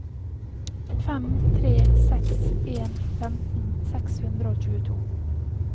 fem tre seks en femten seks hundre og tjueto